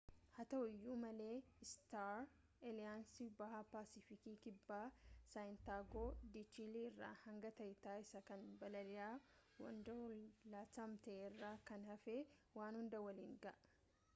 haa ta'uu iyuu malee istaar aaliyaansiin baha paasifikii kibbaa saantiyaagoo de chiilii irraa hanga tahiitii isa kan balali'a waanwoorlidi latam ta'e irraa kan hafe waan hunda waliin ga'a